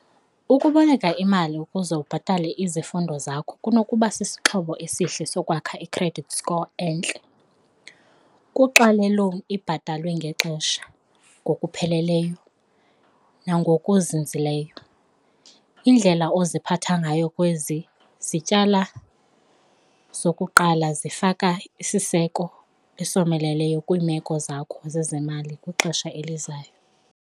Ukuboleka imali ukuze ubhatale izifundo zakho kunokuba sisixhobo esihle sokwakha i-credit score entle kuxa le-loan ibhatalwe ngexesha ngokupheleleyo nangokuzinzileyo. Indlela oziphatha ngayo kwezi zityala zokuqala zifaka isiseko esomeleleyo kwiimeko zakho zezemali kwixesha elizayo.